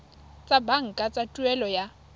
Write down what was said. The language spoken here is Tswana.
tsa banka tsa tuelo ya